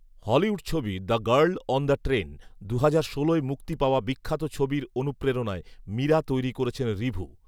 Hollywood ছবি ‘the girl on the train’, দুহাজার ষোলোয় মুক্তি পাওয়া বিখ্যাত ছবির অনুপ্রেরণায় ‘মীরা’ তৈরি করছেন ঋভু